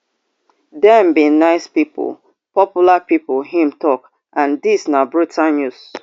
dem be nice pipo popular pipo im tok and dis na brutal news